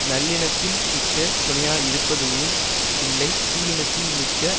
நல்லினத்தின் மிக்க துணையாயிருப்பதூஉம் இல்லை தீயினத்தின் மிக்க